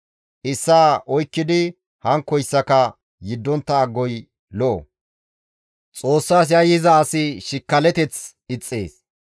Issaa oykkidi hankkoyssaka yeddontta agoy lo7o; Xoossas yayyiza asi shikkalateth ixxees.